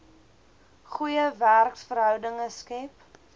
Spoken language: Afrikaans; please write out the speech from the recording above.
goeie werksverhoudinge skep